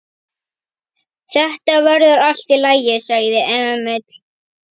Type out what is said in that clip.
Þetta verður allt í lagi, sagði Emil.